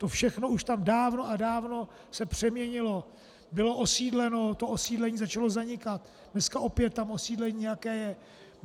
To všechno už tam dávno a dávno se přeměnilo, bylo osídleno, to osídlení začalo zanikat, dneska opět tam osídlení nějaké je.